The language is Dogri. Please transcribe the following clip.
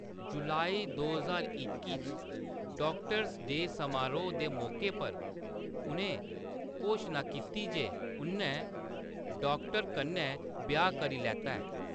जुलाई दो ज्हार इक्की च, डाक्टर्स-डे समारोह्‌‌ दे मौके पर, उʼनें घोशना कीती जे उʼन्नै डाक्टर कन्नै ब्याह्‌‌ करी लैता ऐ।